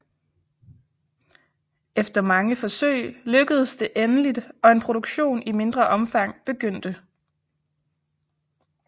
Efter mange forsøg lykkedes det endeligt og en produktion i mindre omfang begyndte